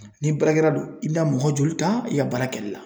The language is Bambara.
Ni baarakɛla don i bina mɔgɔ joli ta i ka baara kɛli la